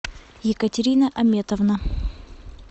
екатерина аметовна